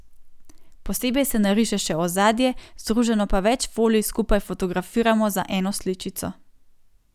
Posebej se nariše še ozadje, združeno pa več folij skupaj fotografiramo za eno sličico.